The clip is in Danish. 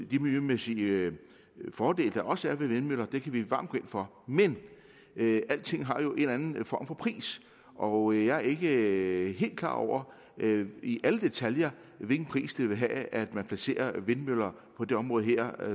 de miljømæssige fordele der også er ved vindmøller kan vi varmt gå ind for men alting har jo en eller anden form for pris og jeg er ikke helt klar over i alle detaljer hvilken pris det vil have at man placerer vindmøller på det område